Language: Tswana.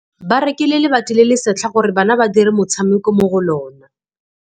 Ba rekile lebati le le setlha gore bana ba dire motshameko mo go lona.